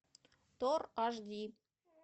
тор аш ди